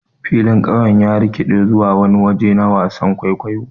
Filin ƙauyen ya rikiɗe zuwa wani waje na wasan kwaikwayo.